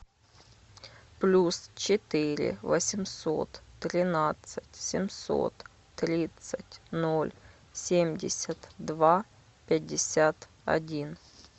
плюс четыре восемьсот тринадцать семьсот тридцать ноль семьдесят два пятьдесят один